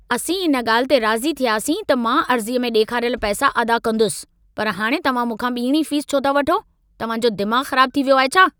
असीं इन ॻाल्हि ते राज़ी थियासीं त मां अर्ज़ीअ में ॾेखारियल पैसा अदा कंदुसि। पर हाणे तव्हां मूंखा ॿीणी फीस छो था वठो? तव्हां जो दिमाग़ खराब थी वियो आहे छा?